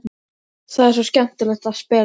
Það er svo skemmtilegt að spila.